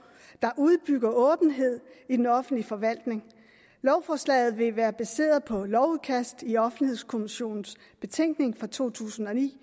der udbygger åbenheden i den offentlige forvaltning lovforslaget vil være baseret på lovudkastet i offentlighedskommissionens betænkning fra to tusind og ni